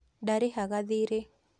Ndarĩhaga thirĩ